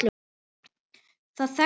Það þekktu hann allir.